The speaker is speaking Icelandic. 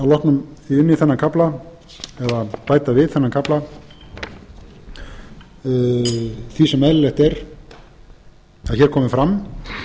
að skjóta inn í þennan kafla eða bæta við þennan kafla því sem eðlilegt er að hér komi fram